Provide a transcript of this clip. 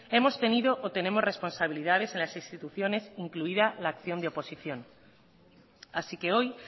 hemos tenido o tenemos responsabilidades en las instituciones incluida la acción de oposición así que hoy